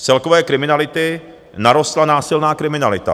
Z celkové kriminality narostla násilná kriminalita.